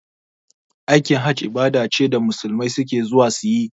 Aikin hajji ibada ce da musulmai suke zuwa suyi